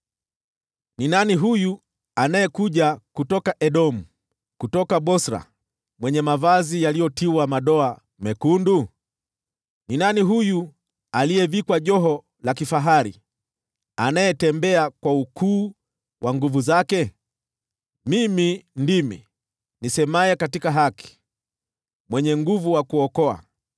Ni nani huyu anayekuja kutoka Edomu, kutoka Bosra, mwenye mavazi yaliyotiwa madoa mekundu? Ni nani huyu, aliyevikwa joho la kifahari, anayetembea kwa ukuu wa nguvu zake? “Mimi ndimi, nisemaye katika haki, mwenye nguvu wa kuokoa.”